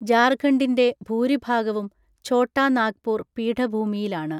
ജാർഖണ്ഡിന്റെ ഭൂരിഭാഗവും ഛോട്ടാ നാഗ്പൂർ പീഠഭൂമിയിലാണ്.